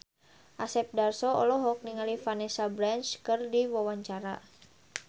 Asep Darso olohok ningali Vanessa Branch keur diwawancara